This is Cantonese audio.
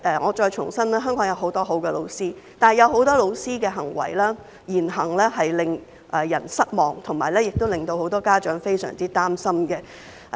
我再重申，香港有很多很好的教師，但在這段時間有很多教師的言行令人失望，令到很多家長非常擔心。